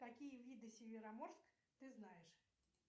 какие виды североморск ты знаешь